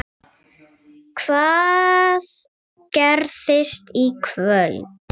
Hvað gerist í kvöld?